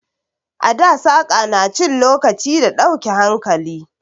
A da saƙa na cin lokaci ga dauke hankali.